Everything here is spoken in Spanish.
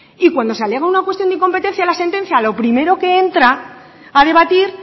y cuando se alega una cuestión de incompetencia a la sentencia lo primero que entra a debatir